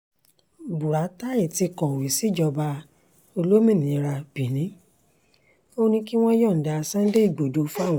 buratai ti kọ̀wé síjọba olómìnira benin ò ní kí wọ́n yọ̀ǹda sunday igbodò fáwọn